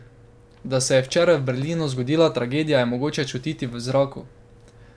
Da se je včeraj v Berlinu zgodila tragedija, je mogoče čutiti v zraku.